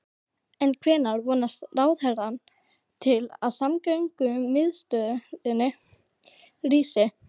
En hvenær vonast ráðherrann til að samgöngumiðstöðin rísi?